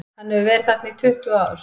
Hann hefur verið þarna í tuttugu ár.